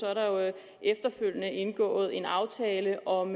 er der jo efterfølgende indgået en aftale om